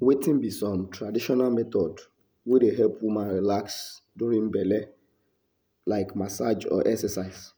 Wetin be some traditional method wey dey help woman relax during belle like massage or exercise?